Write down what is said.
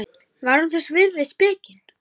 Var hún þess virði spekin?